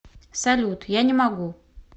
салют я не могу